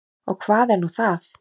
Og hvað er nú það?